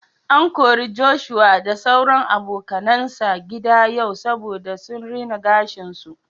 An kori Joshua da sauran abokanan sa gida yau saboda sun rina gashin su.